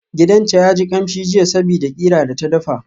Gidanta yaji kamshi jiya sabida qira da ta dafa.